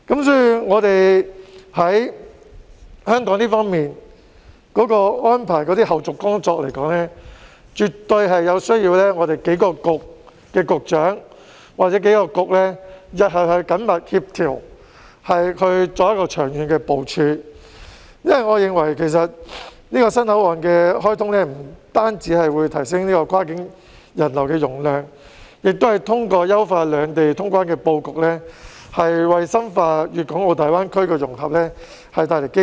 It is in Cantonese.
所以，香港方面的安排和後續工作，絕對需要數個政策局局長或數個政策局日後緊密協調，作長遠的部署，因為我認為這個新口岸的開通不但可以提升跨境人流的容量，也通過優化兩地通關的布局，為深化粵港澳大灣區的融合帶來機遇。